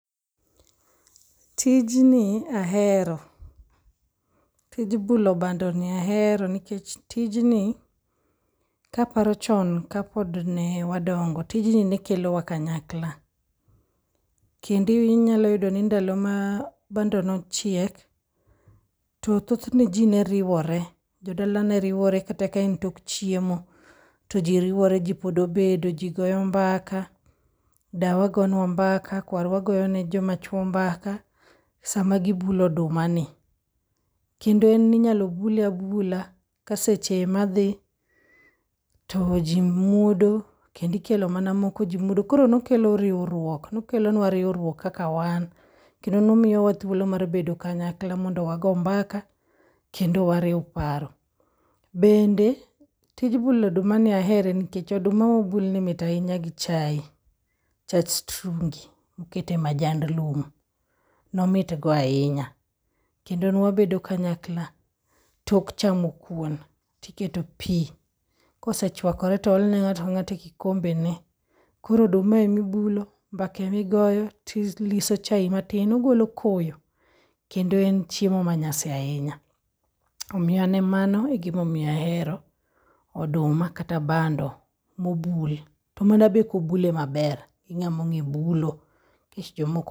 Tinji ahero, tij bulo bandoni ahero nikech tijni kaparo chon kapodne wadongo tijni nekelowa kanyakla. Kendo inyaloyudo ni ndalo ma bando nochiek, to thothne ji neriwore, jodala ne riwore kata kaen tok chiemo to jiriwore ji pod obedo ji goyo mbaka. Dawa gonwa mbaka, kwarwa goyone joma chwo mbaka sama gibulo odumani. Kendo en ninyalo bule abula ka seche ema dhi, to ji muodo kendikelo mana moko ji muodo. Koro nokelo riwruok, nokelonwa riwruok kaka wan. Kendo nomiyowa thuolo mar bedo kanyakla mondo wago mbaka kendo wariw paro. Bende, tij bulodumani ahere nikech oduma mobulni mit ahinya gi chai, chach strungi mokete majnd lum, nomitgo ahinya. Kendo nwabedo kanyakla tok chamo kuon tiketo pi, kosechwakore to oolne ng'ato ka ng'ato e okombene. Koro oduma emibulo, mbaka emigoyo, tiliso chai matin ogolo koyo. Kendo en chiemo ma nyasi ahinya. Omiyo an emano egin ahero oduma kata bando mobul. To manabe kobule maber gi ng'among'e bulo, nikech jomoko.